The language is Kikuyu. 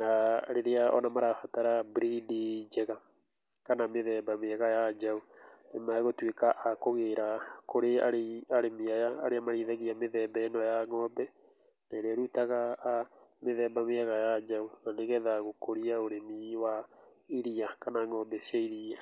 na rĩrĩa ona marabatara breed njega kana mĩthemba mwega wa njaũ nĩ megũtuĩka a kũgĩra kũrĩ arĩmi aya, arĩa marĩithagia mĩthemba ĩno ya ng'ombe na ĩrĩa ĩrutaga mĩthemba mĩega ya njaũ, na nĩgetha gũkũria ũrĩmi wa iria kana ng'ombe cia iria.